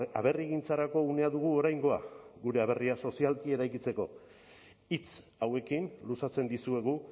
aberrigintzarako unea dugu oraingoa gure aberria sozialki eraikitzeko hitz hauekin luzatzen dizuegu